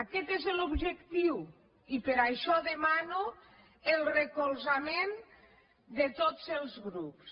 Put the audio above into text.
aquest és l’objectiu i per això demano el recolzament de tots els grups